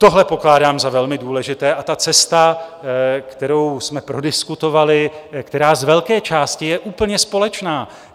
Tohle pokládám za velmi důležité, a ta cesta, kterou jsme prodiskutovali, která z velké části je úplně společná.